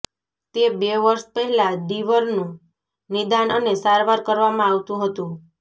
તે બે વર્ષ પહેલાં ડીવરનું નિદાન અને સારવાર કરવામાં આવતું હતું